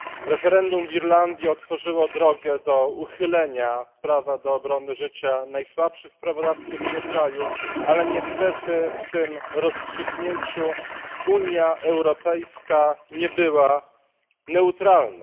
Referendum w Irlandii otworzyło drogę do uchylenia prawa do obrony życia najsłabszych w prawodawstwie tego kraju, ale niestety w tym rozstrzygnięciu Unia Europejska nie była neutralna.